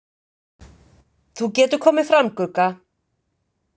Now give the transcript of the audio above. Þú getur komið fram, Gugga!